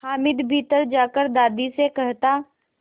हामिद भीतर जाकर दादी से कहता